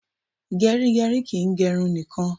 Gerigeri kìí gè irun nìkan